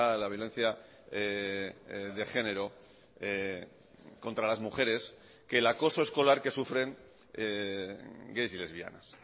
la violencia de género contra las mujeres que el acoso escolar que sufren gays y lesbianas